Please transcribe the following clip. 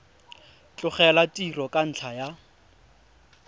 tlogela tiro ka ntlha ya